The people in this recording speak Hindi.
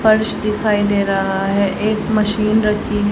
फर्श दिखाई दे रहा है एक मशीन रखी--